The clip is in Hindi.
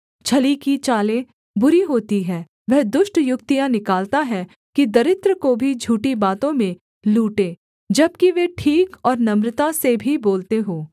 छली की चालें बुरी होती हैं वह दुष्ट युक्तियाँ निकालता है कि दरिद्र को भी झूठी बातों में लूटे जबकि वे ठीक और नम्रता से भी बोलते हों